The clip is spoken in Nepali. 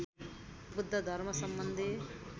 बुद्ध धर्मसम्बन्धी